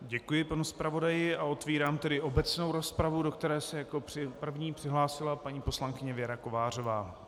Děkuji panu zpravodaji a otvírám tedy obecnou rozpravu, do které se jako první přihlásila paní poslankyně Věra Kovářová.